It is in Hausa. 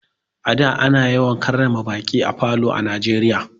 A da ana yawan karrama baƙi a falo a Najeriya.